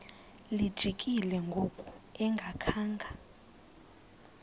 lijikile ngoku engakhanga